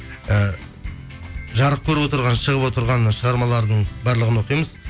і жарық көріп отырған шығып отырған шығармалардың барлығын оқимыз